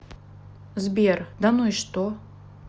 сбер да ну и что